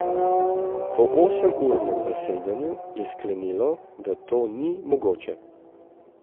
Po osemurnem zasedanju je sklenilo, da to ni mogoče.